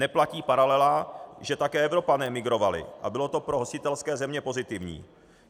Neplatí paralela, že také Evropané migrovali a bylo to pro hostitelské země pozitivní.